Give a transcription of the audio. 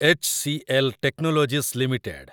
H C L technologies limited